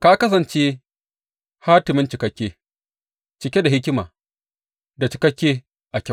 Ka kasance hatimin cikakke, cike da hikima da cikakke a kyau.